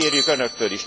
Ezt kérjük önöktől.